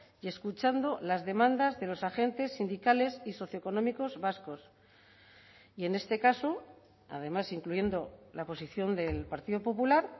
y escuchando las demandas de los agentes sindicales y socioeconómicos vascos y en este caso además incluyendo la posición del partido popular